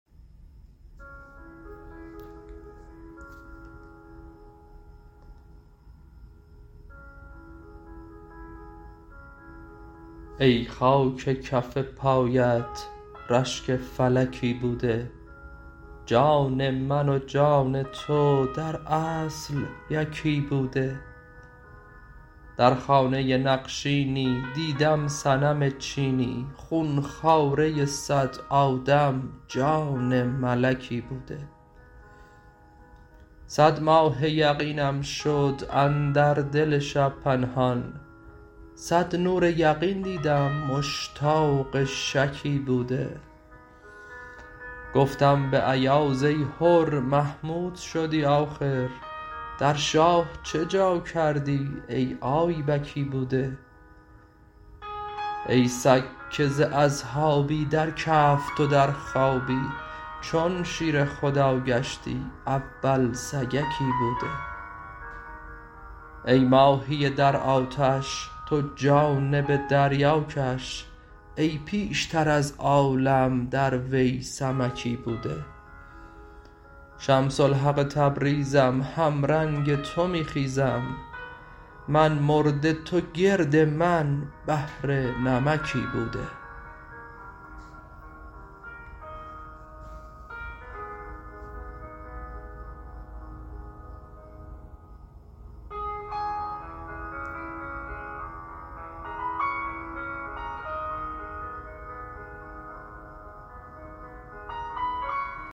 ای خاک کف پایت رشک فلکی بوده جان من و جان تو در اصل یکی بوده در خانه نقشینی دیدم صنم چینی خون خواره صد آدم جان ملکی بوده صد ماه یقینم شد اندر دل شب پنهان صد نور یقین دیدم مشتاق شکی بوده گفتم به ایاز ای حر محمود شدی آخر در شاه چه جا کردی ای آیبکی بوده ای سگ که ز اصحابی در کهف تو در خوابی چون شیر خدا گشتی اول سگکی بوده ای ماهی در آتش تو جانب دریا کش ای پیشتر از عالم در وی سمکی بوده شمس الحق تبریزم همرنگ تو می خیزم من مرده تو گرد من بحر نمکی بوده